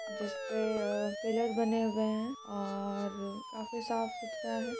जिसपे अ पिलर बने हुए है और काफी साफ सुथरा है।